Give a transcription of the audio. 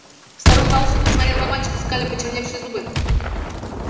старуха алчно посмотрела на мальчика скаля почерневшие зубы